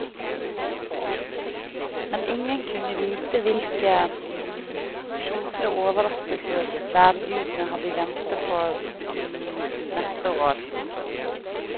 Men ingen kunne vite hvilke sjofle overraskelser værgudene hadde i vente for neste år.